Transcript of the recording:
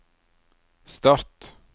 start